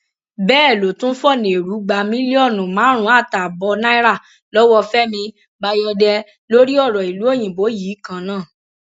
bẹẹ ló tún fọnà ẹrú gba mílíọnù márùnún àtààbọ náírà lọwọ fẹmi bayọdẹ lórí ọrọ ìlú òyìnbó yìí kan náà